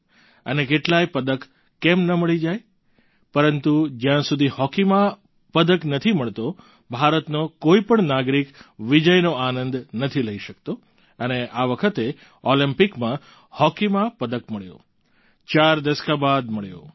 અને કેટલાય પદક કેમ ન મળી જાય પરંતુ જ્યાં સુધી હોકીમાં પદક નથી મળતો ભારતનો કોઈ પણ નાગરિક વિજયનો આનંદ નથી લઈ શકતો અને આ વખતે ઓલમ્પિકમાં હોકીમાં પદક મળ્યો ચાર દસકા બાદ મળ્યો